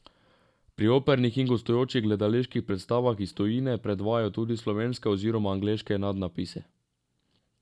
Pri opernih in gostujočih gledaliških predstavah iz tujine predvajajo tudi slovenske oziroma angleške nadnapise.